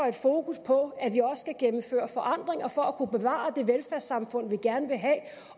et fokus på at vi også skal gennemføre forandringer for at kunne bevare det velfærdssamfund vi gerne vil have